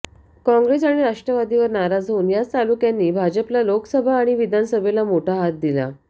काँग्रेस आणि राष्ट्रवादीवर नाराज होऊन याच तालुक्यांनी भाजपला लोकसभा आणि विधानसभेला मोठा हात दिला